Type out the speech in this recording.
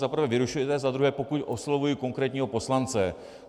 Za prvé vyrušujete, za druhé pokud oslovuji konkrétního poslance.